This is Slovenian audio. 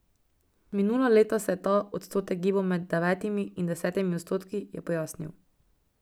Minula leta se je ta odstotek gibal med devetimi in desetimi odstotki, je pojasnil.